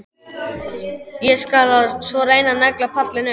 Ég skal svo reyna að negla pallinn upp.